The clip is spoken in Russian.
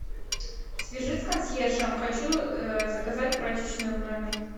свяжись с консьержем хочу заказать прачечную в номер